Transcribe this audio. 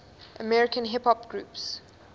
american hip hop groups